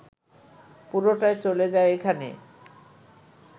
পুরোটাই চলে যায় এখানে